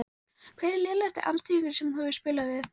Hver er lélegasti andstæðingurinn sem þú hefur spilað við?